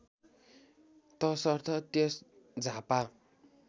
तसर्थ त्यस झापा